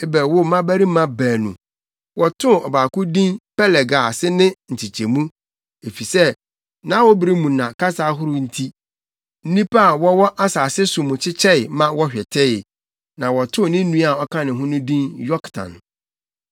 Eber woo mmabarima baanu. Wɔtoo ɔbaako din Peleg a ase kyerɛ Nkyekyɛmu, efisɛ nʼawobere mu na kasa ahorow nti, nnipa a wɔwɔ asase so mu kyekyɛe ma wɔhwetee. Na wɔtoo ne nua a ɔka ne ho no din Yoktan.